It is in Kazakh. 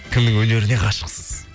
кімнің өнеріне ғашықсыз